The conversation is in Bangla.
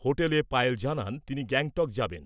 হোটেলে পায়েল জানান , তিনি গ্যাংটক যাবেন ।